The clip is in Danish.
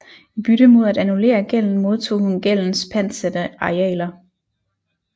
I bytte mod at annullere gælden modtog hun gældens pantsatte arealer